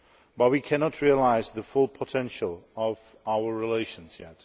But we cannot realise the full potential of our relations yet.